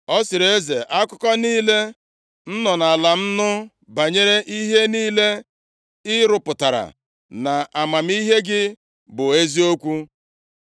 Ọ sịrị eze, “Akụkọ niile m nọ nʼala m nụ banyere ihe niile ị rụpụtara na amamihe gị bụ eziokwu.